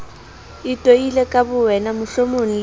itoile ka bowena mohlomong le